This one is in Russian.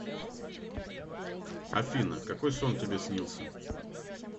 афина какой сон тебе снился